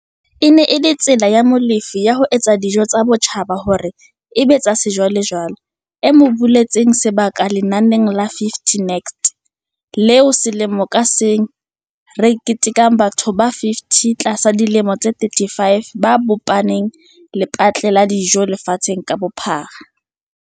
E ne e le tsela ya Molefe ya ho etsa dijo tsa botjhaba hore e be tsa sejwalejwale e mo buletseng sebaka lenaneng la 50 Next, leo selemo ka seng le ketekang batho ba 50 ba tlasa dilemo tse 35 ba bopang lepatle-lo la dijo lefatsheng ka bophara.